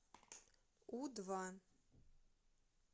у два